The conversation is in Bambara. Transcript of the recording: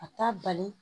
A t'a bali